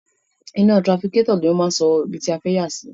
Iná trafikátọ̀ ni a máa fi ń sọ ibi tí a fẹ́ yà sí.